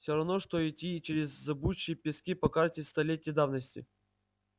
все равно что идти через зыбучие пески по карте столетней давности